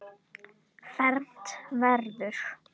Fermt verður.